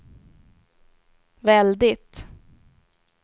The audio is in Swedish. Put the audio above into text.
väldigt